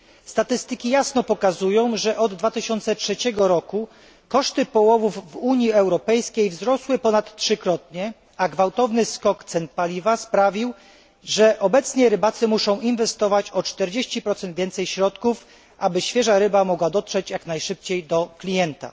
Statystyki jasno pokazują, że od 2003 roku koszty połowów w Unii Europejskiej wzrosły ponad trzykrotnie, a gwałtowny skok cen paliwa sprawił, że obecnie rybacy muszą inwestować o 40 więcej środków, aby świeża ryba mogła dotrzeć jak najszybciej do klienta.